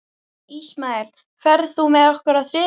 Ismael, ferð þú með okkur á þriðjudaginn?